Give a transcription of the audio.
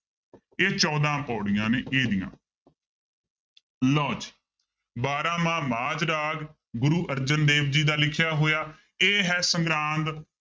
ਇਹ ਚੋਦਾਂ ਪਾਉੜੀਆਂ ਨੇ ਇਹਦੀਆਂ ਲਓ ਜੀ ਬਾਰਾਂਮਾਂਹ ਮਾਝ ਰਾਗ ਗੁਰੂ ਅਰਜਨ ਦੇਵ ਜੀ ਦਾ ਲਿਖਿਆ ਹੋਇਆ ਇਹ ਹੈ ਸੰਗਰਾਂਦ